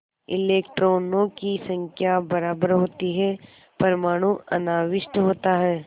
इलेक्ट्रॉनों की संख्या बराबर होती है परमाणु अनाविष्ट होता है